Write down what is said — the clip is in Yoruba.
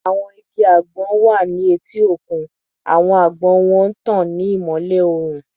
Awọn igi agbon wa ni eti okun, awọn agbon wọn n tan ni imọlẹ oorun